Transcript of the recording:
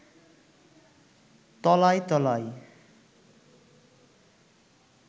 তলায় তলায়